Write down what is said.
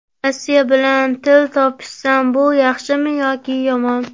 Rossiya bilan til topishsam, bu yaxshimi yoki yomon?